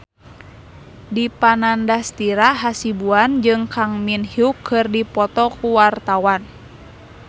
Dipa Nandastyra Hasibuan jeung Kang Min Hyuk keur dipoto ku wartawan